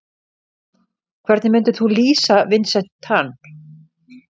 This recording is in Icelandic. Hvernig myndir þú lýsa Vincent Tan?